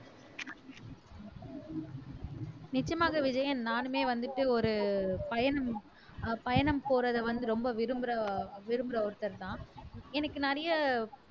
நிச்சயமாக விஜயன் நானுமே வந்துட்டு ஒரு பயணம் அஹ் பயணம் போறதை வந்து ரொம்ப விரும்பற விரும்பற ஒருத்தர்தான் எனக்கு நிறைய